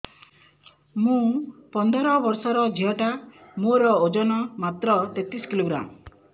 ମୁ ପନ୍ଦର ବର୍ଷ ର ଝିଅ ଟା ମୋର ଓଜନ ମାତ୍ର ତେତିଶ କିଲୋଗ୍ରାମ